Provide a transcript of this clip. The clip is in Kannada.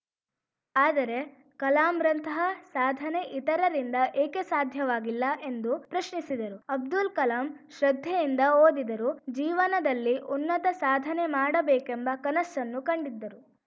ಆದರೆ ಕಲಾಂರಂತಹ ಸಾಧನೆ ಇತರರಿಂದ ಏಕೆ ಸಾಧ್ಯವಾಗಿಲ್ಲ ಎಂದು ಪ್ರಶ್ನಿಸಿದರು ಅಬ್ದುಲ್‌ ಕಲಾಂ ಶ್ರದ್ಧೆಯಿಂದ ಓದಿದರು ಜೀವನದಲ್ಲಿ ಉನ್ನತ ಸಾಧನೆ ಮಾಡಬೇಕೆಂಬ ಕನಸ್ಸನ್ನು ಕಂಡಿದ್ದರು